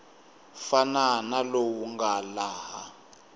fana na lowu nga laha